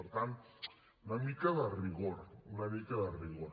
per tant una mica de rigor una mica de rigor